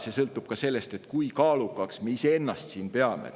See sõltub ka sellest, kui kaalukaks me iseennast siin peame.